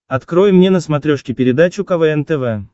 открой мне на смотрешке передачу квн тв